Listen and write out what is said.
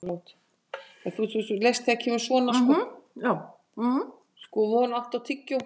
Von, áttu tyggjó?